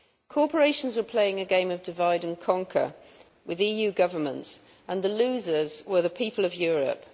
Corporations were playing a game of divide and conquer with EU governments, and the losers were the people of Europe.